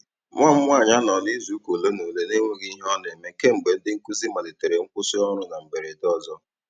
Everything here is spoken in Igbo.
Nwa m nwaanyị anọọla izuụka ole na ole n'enweghị ihe ọ na-eme kemgbe ndị nkụzi malitere nkwụsị ọrụ na mberede ọzọ.